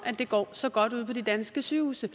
det går så godt ude på de danske sygehuse